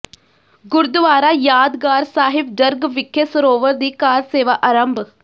ਗੁਰਦੁਆਰਾ ਯਾਦਗਾਰ ਸਾਹਿਬ ਜਰਗ ਵਿਖੇ ਸਰੋਵਰ ਦੀ ਕਾਰ ਸੇਵਾ ਆਰੰਭ